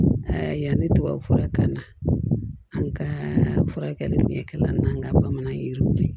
A yanni tubabufura kana an ka furakɛli fɛngɛ la n'an ka bamanan yiriw